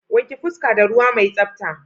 Wanke fuska da ruwa mai tsabta.